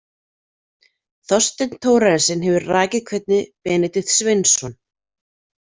Þorsteinn Thorarensen hefur rakið hvernig Benedikt Sveinsson.